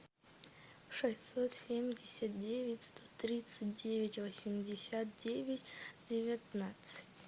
шестьсот семьдесят девять сто тридцать девять восемьдесят девять девятнадцать